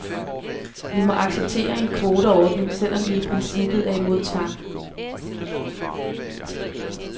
Vi må acceptere en kvoteordning, selv om vi i princippet er imod tvang.